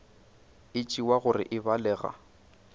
e tšewa gore e balega